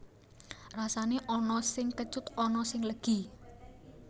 Rasané ana sing kecut ana sing legi